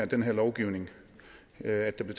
den her lovgivning at der blev